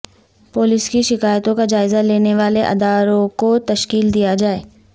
police کی شکایتوں کا جائزہ لینے والے اداروں کو تشکیل دیا جائے